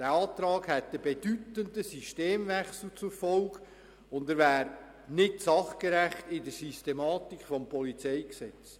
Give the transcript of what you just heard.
Der Antrag hätte einen bedeutenden Systemwechsel zur Folge und wäre gemäss der Systematik des PolG nicht sachgerecht.